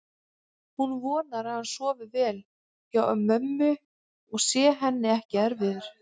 Hún vonar að hann sofi vel hjá mömmu og sé henni ekki erfiður.